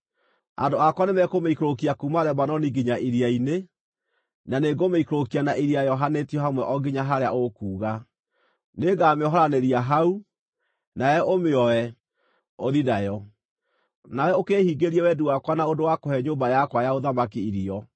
Andũ akwa nĩmekũmĩikũrũkia kuuma Lebanoni nginya iria-inĩ, na nĩngũmĩikũrũkia na iria yohanĩtio hamwe o nginya harĩa ũkuuga. Nĩngamĩohoranĩria hau, nawe ũmĩoe, ũthiĩ nayo. Nawe ũkĩĩhingĩrie wendi wakwa na ũndũ wa kũhe nyũmba yakwa ya ũthamaki irio.”